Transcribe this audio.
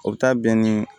O bɛ taa bɛn ni